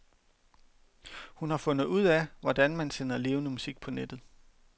Hun har fundet ud af, hvordan man sender levende musik på nettet.